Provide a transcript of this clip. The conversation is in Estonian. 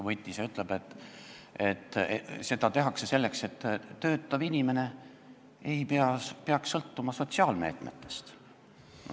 Võib-olla mõni ütleb, et seda tehakse selleks, et töötav inimene ei peaks sõltuma sotsiaalmeetmetest.